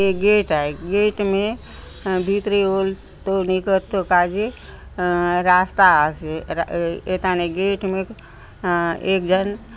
ये गेट आय गेट में भीतरे ओलतो निकरतो काजे रास्ता आसे ए एथाने गेट में अ एक जन --